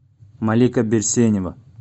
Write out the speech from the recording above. малика берсенева